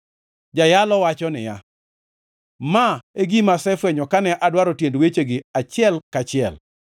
Jayalo wacho niya, “Ma e gima asefwenyo kane adwaro tiend wechegi achiel kachiel,